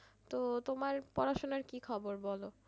তো তোমার পড়াশোনার কী খবর বলো।